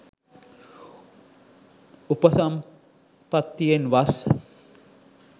උපසම්පත්තියෙන් වස්